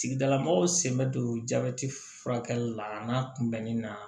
Tigilamɔgɔw sen bɛ don jabɛti furakɛli la a n'a kunbɛnni na